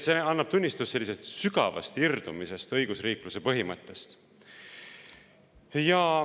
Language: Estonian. See annab tunnistust sügavast irdumisest õigusriikluse põhimõttest.